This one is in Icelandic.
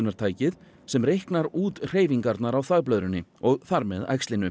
geislunartækið sem reiknar út hreyfingarnar á þvagblöðrunni og þar með